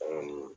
An kɔni